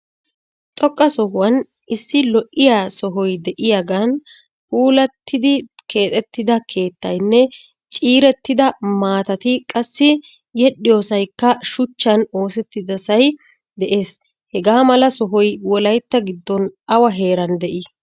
Xoqqa sohuwan issi lo"iyaa sohoy de"iyaagan puulattidi keexettida keettaynne ciirettida maatati qassi yedhdhiyoosaykka shuchchan oosettidosay de'ees. Hagaa mala sohoy wolaytta giddon awa heeran de'ii?